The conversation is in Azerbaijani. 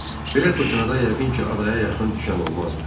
Belə fırtınada yəqin ki, adaya yaxın düşən olmazdı.